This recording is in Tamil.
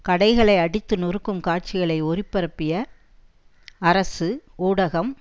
கடைகளை அடித்து நொறுக்கும் காட்சிகளை ஒளிபரப்பிய அரசு ஊடகம்